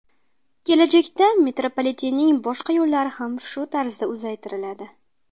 Kelajakda metropolitenning boshqa yo‘llari ham shu tarzda uzaytiriladi.